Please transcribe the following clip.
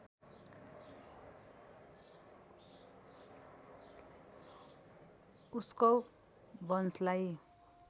उस्कव वंशलाई